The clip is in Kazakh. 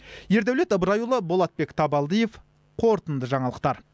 ердаулет ыбырайұлы болатбек табалдиев қорытынды жаңалықтар